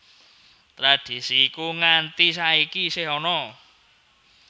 Tradisi iku nganti saiki isih ana